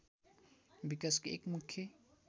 विकासको एक मुख्य